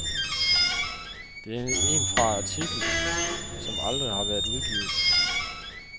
Det er en fra artikel, som aldrig har været udgivet.